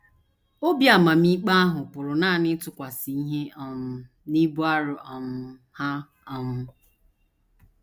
Obi amamikpe ahụ pụrụ nanị ịtụkwasị ihe um n’ibu arọ um ha um.